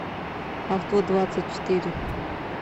авто двадцать четыре